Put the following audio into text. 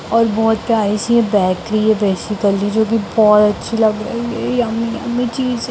और बहुत प्यारी सी बैकरी है बैसिक्ली जो की बोहोत अच्छी लग रही है यमी-यमी चीज --